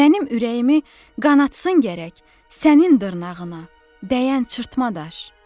Mənim ürəyimi qanatsın gərək sənin dırnağına dəyən cırtma daş.